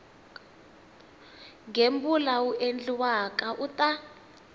gembula wu endliwaka u ta